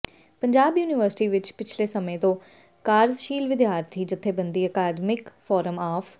Punjab university ਵਿਚ ਪਿਛਲੇ ਸਮੇਂ ਤੋਂ ਕਾਰਜਸ਼ੀਲ ਵਿਦਿਆਰਥੀ ਜਥੇਬੰਦੀ ਅਕਾਦਮਿਕ ਫ਼ੌਰਮ ਆਫ਼